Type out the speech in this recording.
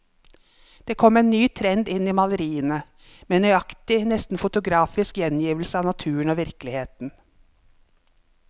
Det kom en ny trend inn i maleriene, med nøyaktig, nesten fotografisk gjengivelse av naturen og virkeligheten.